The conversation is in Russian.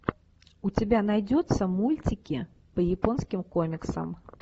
у тебя найдется мультики по японским комиксам